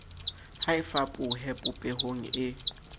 ha e fapohe popehong e